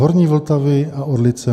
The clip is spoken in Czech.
"... horní Vltavy a Orlice."